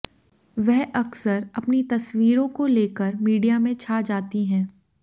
वह अक्सर अपनी तस्वीरों को लेकर मीडिया में छा जाती हैं